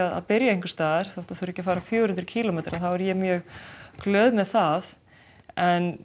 að byrja einhversstaðar þó það fari ekki fjögur hundruð kílómetra þá er ég mjög glöð með það en